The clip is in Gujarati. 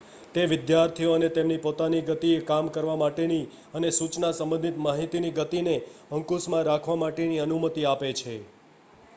તે વિદ્યાર્થીઓને તેમની પોતાની ગતિએ કામ કરવા માટેની અને સૂચના સંબંધિત માહિતીની ગતિને અંકુશમાં રાખવા માટેની અનુમતિ આપે છે